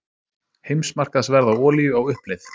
Heimsmarkaðsverð á olíu á uppleið